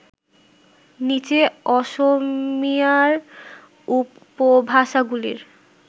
নিচে অসমীয়ার উপভাষাগুলির